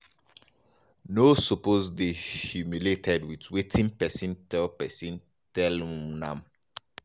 no suppose dey humiliated wit wetin pesin tell pesin tell um am.